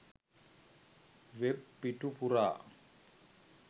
web පිටු පුරා